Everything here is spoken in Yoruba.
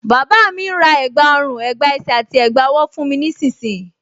Bàbá mi ń ra ẹ̀gbá ọrùn, ẹ̀gbá ẹsẹ̀ àti ẹ̀gbá ọwọ́ fún mi nísinsìnyí